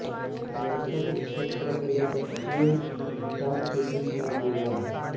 दरअसल इस क्षेत्र को लेकर चीन भूटान के बीच में विवाद है